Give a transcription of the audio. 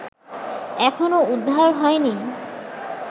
এখনো উদ্ধার হয়নি